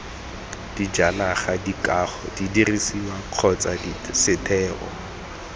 dijanaga dikago didirisiwa kgotsa setheo